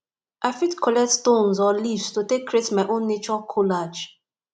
i fit collect stones or leaves to create my own nature collage